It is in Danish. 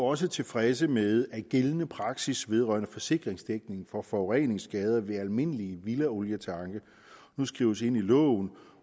også tilfredse med at gældende praksis vedrørende forsikringsdækning for forureningsskader ved almindelige villaolietanke nu skrives ind i loven